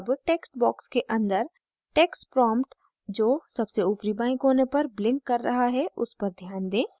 अब text box के अंदर text prompt जो सबसे ऊपरी बाएं कोने पर ब्लिंक कर रहा है उस पर ध्यान दें